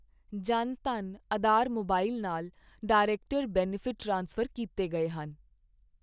Jan Dhan Aadhaar mobile ਨਾਲ director benefit transfer ਕੀਤੇ ਗਏ ਹਨ।